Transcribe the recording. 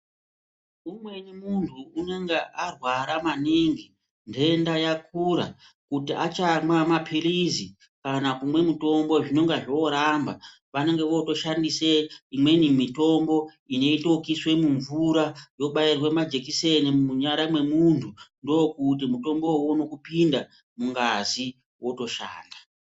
Umweni munhu unenga arwara maningi, nhenda yakura kuti achamwa mapilizi kana kumwa mutombo zvinenga zvooramba, vanoshandise imweni mitombo inoitwe ekuiswe mumvura, yobairwe majekiseni munyara mwemunhu ndokuti mutombo uwowo uone kupinda mungazi otoshanda.